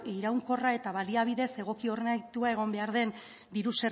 iraunkorra eta baliabidez egoki hornitua egon behar den diru